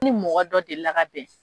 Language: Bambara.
Ni mɔgɔ delila ka bɛn.